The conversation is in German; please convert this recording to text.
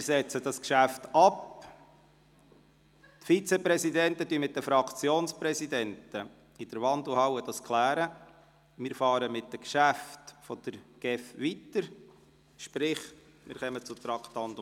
Wir setzen das Geschäft ab, die Vizepräsidenten klären dies in der Wandelhalle mit den Fraktionspräsidenten, und wir fahren mit den Geschäften der GEF fort – sprich, wir kommen zum Traktandum 43.